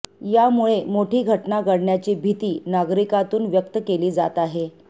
यामुळे मोठी घटना घडण्याची भीती नागरिकांतून व्यक्त केली जात आहे